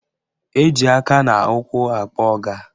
Eji aka na ụkwụ akpọ ọga